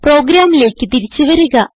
പ്രോഗ്രാമിലേക്ക് തിരിച്ചു വരിക